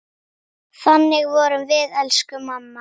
Þannig vorum við, elsku mamma.